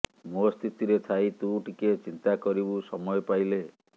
ମୋ ସ୍ଥିତିରେ ଥାଇ ତୁ ଟିକେ ଚିନ୍ତା କରିବୁ ସମୟ ପାଇଲେ